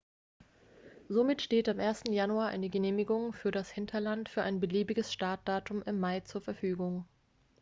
somit steht am 1. januar eine genehmigung für das hinterland für ein beliebiges startdatum im mai zur verfügung